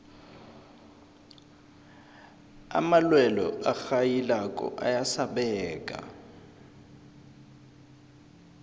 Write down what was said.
amalwelwe arhayilako ayasabeka